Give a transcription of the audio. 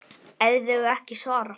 ef þau ekki svara